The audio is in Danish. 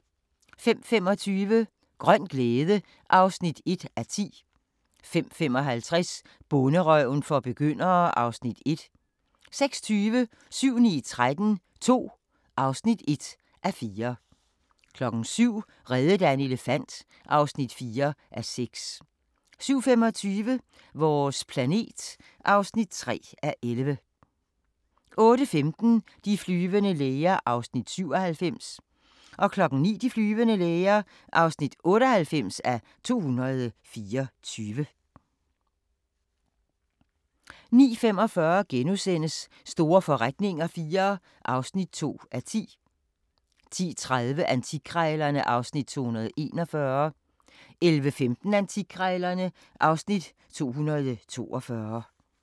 05:25: Grøn glæde (1:10) 05:55: Bonderøven for begyndere (Afs. 1) 06:20: 7-9-13 II (1:4) 07:00: Reddet af en elefant (4:6) 07:25: Vores planet (3:11) 08:15: De flyvende læger (97:224) 09:00: De flyvende læger (98:224) 09:45: Store forretninger IV (2:10)* 10:30: Antikkrejlerne (Afs. 241) 11:15: Antikkrejlerne (Afs. 242)